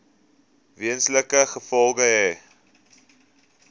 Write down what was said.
wesenlike gevolge hê